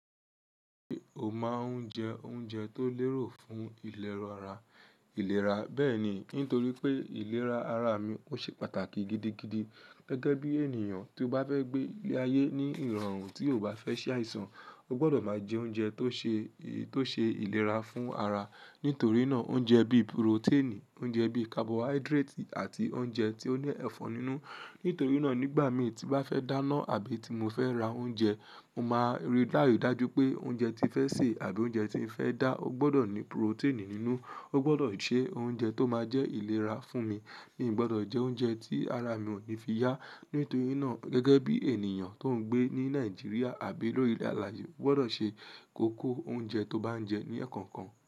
Ṣé o máa ń jẹ oúnjẹ tó lérò fún ìlera ara, ilera? Bẹ́ẹ̀ni, ntorí pé ìlera ara mi ó ṣe pàtàkì gidigidi. Gẹ́gẹ́ bí ènìyàn tí ó bá fẹ́ gbé ile ayé ní ìrọ̀rùn tí ò bá fẹ́ ṣàìsàn, ó gbọdọ̀ máa jẹ oúnjẹ tó ṣe e, to se ìlera fún ara. Nítorí náà, oúnjẹ bíi purotẹ́ẹ̀nì, oúnjẹ bíi kabọ̀haídírátì àti oúnjẹ tó ní ẹ̀fọn nínú. Ítorí náà, nígbà mí tí bá fẹ́ dáná àbí tí mo fẹ́ ra oúnjẹ, mo máa rí bayii dáju pé oúnjẹ tí fẹ́ sè àbí oúnjẹ tí n fẹ́ dá, ó gbọdọ̀ ní purotẹ́ẹ̀nì nínú, ó gbọdọ̀ jẹ́ oúnjẹ tó máa jẹ́ ìlera fún mi. Mi ò gbọdọ̀ jẹ oúnjẹ tí ara mi ò ní fi yá. Nítorí náà, gẹ́gẹ́ bí ènìyàn tó ń gbé ní Nàìjíríà àbí lórí ilẹ̀ alàye, ó gbọdọ̀ ṣe kókó oúnjẹ tó bá ń jẹ ní ẹ̀ẹ̀kan kan.